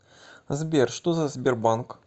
сбер что за сбербанк